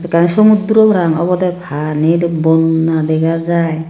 ekan sumotdro pra obodey Pani bonna degha jai.